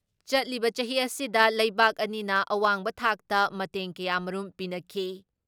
ꯆꯠꯂꯤꯕ ꯆꯍꯤ ꯑꯁꯤꯗ ꯂꯩꯕꯥꯛ ꯑꯅꯤꯅ ꯑꯋꯥꯡꯕ ꯊꯥꯛꯇ ꯃꯇꯦꯡ ꯀꯌꯥꯃꯔꯨꯝ ꯄꯤꯅꯈꯤ ꯫